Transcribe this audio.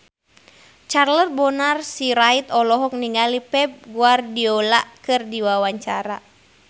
Charles Bonar Sirait olohok ningali Pep Guardiola keur diwawancara